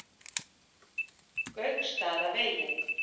Gauksstaðavegi